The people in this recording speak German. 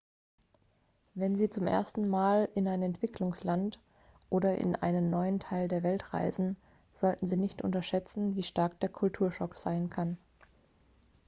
wenn sie zum ersten mal in ein entwicklungsland oder in einen neuen teil der welt reisen sollten sie nicht unterschätzen wie stark der kulturschock sein kann